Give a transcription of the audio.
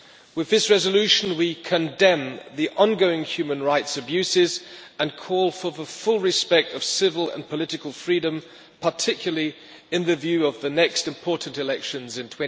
With this resolution we condemn the ongoing human rights abuses and call for the full respect of civil and political freedom, particularly in view of the next important elections in